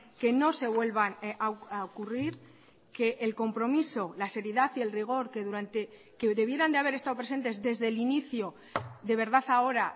que no se vuelvan a ocurrir que el compromiso la seriedad y el rigor que durante que debieran de haber estado presentes desde el inicio de verdad ahora